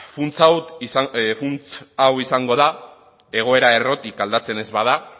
funtsa hau izango da egoera errotik aldatzen ez bada